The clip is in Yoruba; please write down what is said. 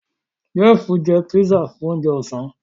Jeff njẹ pizza Fún oúnjẹ Ọ̀sán